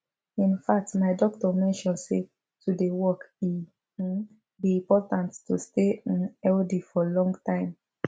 in fact my doctor mention say to dey walk e um be important to stay um healthy for long time